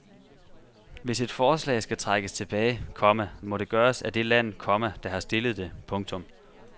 Hvis et forslag skal trækkes tilbage, komma må det gøres af det land, komma der har stillet det. punktum